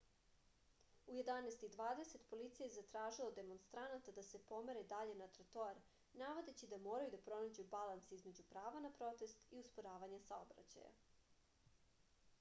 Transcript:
u 11:20 policija je zatražila od demonstranata da se pomere dalje na trotoar navodeći da moraju da pronađu balans između prava na protest i usporavanja saobraćaja